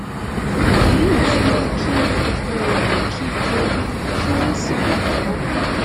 èyí tún mú kí gbogbo èrò kígbe kí wọn sì pàtẹwọ